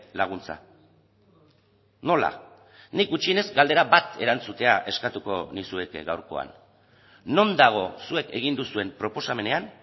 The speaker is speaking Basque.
laguntza nola nik gutxienez galdera bat erantzutea eskatuko nizueke gaurkoan non dago zuek egin duzuen proposamenean